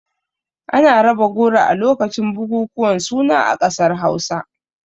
Ana raba goro a lokacin bukukuwan suna a ƙasar Hausa.